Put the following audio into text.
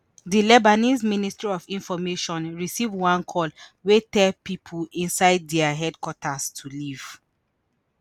di lebanese ministry of information receive one call wey tell pipo inside dia headquarters to leave.